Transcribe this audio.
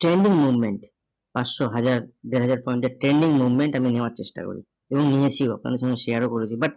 trending movement পাঁচশো হাজার, দেড় হাজার point এর trending movement আমি নেওয়ার চেষ্টা করি এবং নিয়েছি আপনাদের সঙ্গে share ও করেছি but